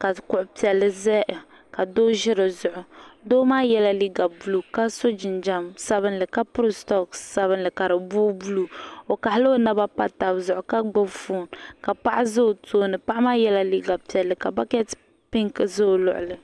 ka kuɣu piɛlli ʒɛya ka Doo ʒi dizuɣu Doo maa yɛla liiga buluu ka so jinjɛm sabinli ka piri soks sabinli ka di booi buluu o kaɣala o naba pa tabi zuɣu ka gbubi foon ka paɣa ʒɛ o tooni paɣa maa yɛla liiga piɛlli ka bakɛt pink ʒɛ o tooni